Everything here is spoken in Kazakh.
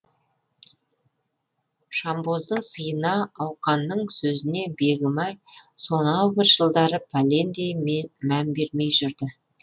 жанбоздың сыйына ауқанның сөзіне бегімай сонау бір жылдары пәлендей мән бермей жүрді